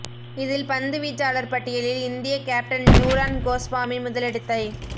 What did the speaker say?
இதில் பந்து வீச்சாளர் பட்டியலில் இந்தியக் கேப்டன் ஜுலான் கோஸ்வாமி முதலிடத்தைப்